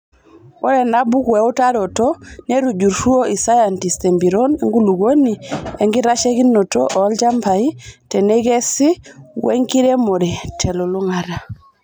Ore enabuku eutaroto netujurutuo isayantist; empiron enkulukuoni, enkitasheikinoto olchambai teneikesi wenkiremore telulung'ata.